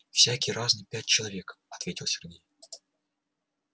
всякие разные пять человек ответил сергей